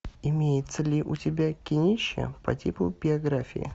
имеется ли у тебя кинище по типу биографии